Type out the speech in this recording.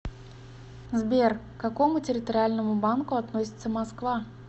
сбер к какому территориальному банку относится москва